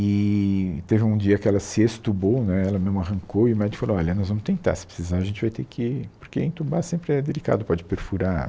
Eee teve um dia que ela se extubou né, ela mesmo arrancou e o médico falou, olha, nós vamos tentar, se precisar a gente vai ter que... porque entubar sempre é delicado, pode perfurar.